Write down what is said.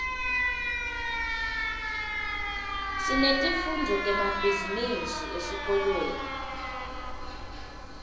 sinetifundvo temabhizinisi esikolweni